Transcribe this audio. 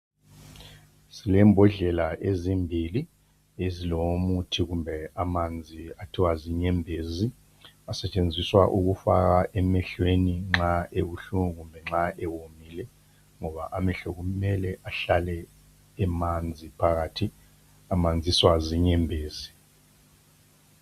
Silembodlela ezimbili ezilomuthi kumbe amanzi okuthiwa zinyembezi asetshenziswa ukufakwa emehlweni nxa ebuhlungu kumbe nxa ewomile ngoba amehlo kumele ahlale emanzi phakathi amanziswa zinyembezi.